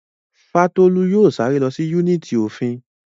Fátólú yóò sáré lọ sí yúnìtì òfin